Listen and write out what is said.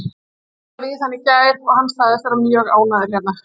Ég talaði við hann í gær og hann sagðist vera mjög ánægður hérna.